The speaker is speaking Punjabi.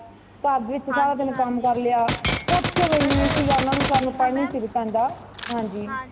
ਘਰ ਵਿੱਚ ਸਾਰਾ ਦਿਨ ਕਾਮ ਕਰ ਲਿਆ ,ਕੁਛ ਵੀ ਨਹੀਂ ਸੀ ਓਨਾ ਨੂੰ ਵਿਚਾਰੀ ਨੂੰ time ਨਹੀਂ ਸੀ ਪੈਂਦਾ ਹਾਂਜੀ